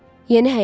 Yeni həyat.